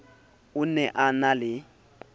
o ne a na le